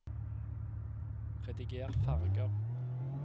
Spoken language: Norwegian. rediger farger